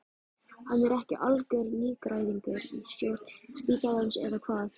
Hann er ekki algjör nýgræðingur í stjórn spítalans eða hvað?